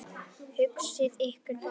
Hugsið ykkur bara!